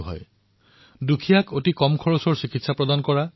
doctor জয়াচন্দ্ৰণে দুখীয়াক ব্যয়সাধ্য মূল্যৰ চিকিৎসা প্ৰদান কৰিছিল